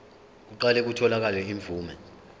kuqale kutholakale imvume